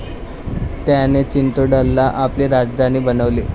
त्याने चित्तोडला आपली राजधानी बनवली.